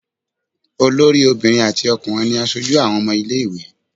Olórí obìnrin àti ọkùnrin ni aṣojú àwọn ọmọ ilé-ìwé.